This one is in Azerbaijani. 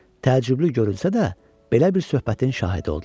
Təəccüblü görünsə də, belə bir söhbətin şahidi oldular.